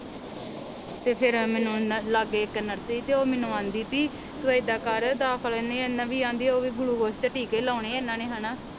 ਤੇ ਫਿਰ ਮੈਨੂੰ ਉਹਨਾਂ ਨੇ ਲਾਗੇ ਇਕ ਨਰਸ ਹੀ ਤੇ ਉਹ ਮੈਨੂੰ ਆਂਦੀ ਪੀ ਤੂੰ ਇਹਦਾ ਕਰ ਦਾਖ਼ਲ ਇਹਨੇ ਇਹਨਾ ਵੀ ਆਂਦੀ ਓਵੀ ਗਲੂਕੋਸ ਤੇ ਟੀਕੇ ਲਾਉਣੇ ਆ ਓਹਨਾ ਨੇ ਹੇਨਾ।